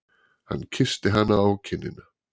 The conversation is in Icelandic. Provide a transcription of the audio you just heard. Hann kyssti hana á kinnina.